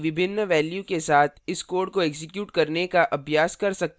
आप a और b की विभिन्न values के साथ इस code को एक्जीक्यूट करने का अभ्यास कर सकते हैं